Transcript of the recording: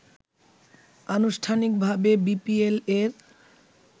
আনুষ্ঠানিকভাবে বিপিএল-এর